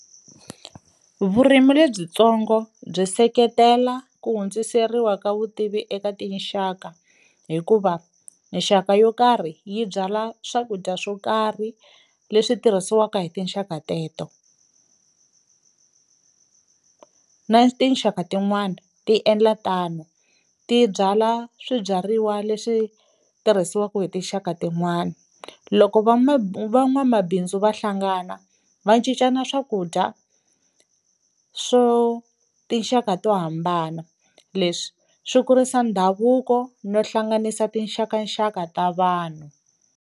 Vurimi lebyitsongo byi seketela ku hundziseriwa ka vutivi eka tinxaka hikuva nxaka yo karhi yi byala swakudya swo karhi leswi tirhisiwaka hi tinxaka teto, na tinxaka tin'wani ti endla tano ti byala swibyariwa leswi tirhisiwaku hi tinxaka tin'wani, loko van'wamabindzu va hlangana va cincana swakudya swo tinxaka to hambana leswi swi kurisa ndhavuko no hlanganisa tinxakaxaka ta vanhu.